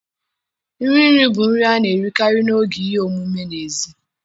Nri nri bụ nri a na-erikarị n'oge ihe omume n'èzí